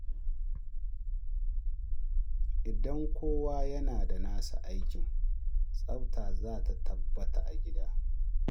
Idan kowa yana da nasa aikin, tsafta zata tabbata a gida.